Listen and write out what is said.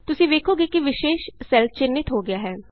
ਤੁਸੀਂ ਵੇਖੋਗੇ ਕਿ ਵਿਸ਼ੇਸ ਸੈੱਲ ਚਿੰਨ੍ਹਿਤ ਹੋ ਗਿਆ ਹੈ